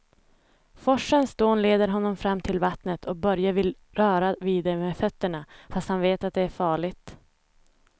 Forsens dån leder honom fram till vattnet och Börje vill röra vid det med fötterna, fast han vet att det är farligt.